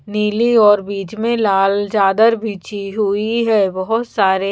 नीली और बीच में लाल चादर बिछी हुई है बहुत सारे--